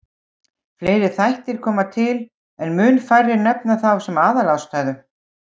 Fleiri þættir koma til en mun færri nefna þá sem aðalástæðu.